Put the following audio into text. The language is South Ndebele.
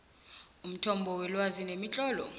umthombo welwazi nemitlolo